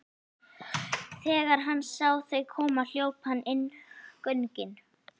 Þegar hann sá þau koma hljóp hann inn göngin.